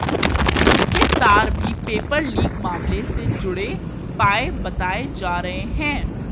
उसके तार भी पेपर लीक मामले से जुड़े पाए बताए जा रहे हैं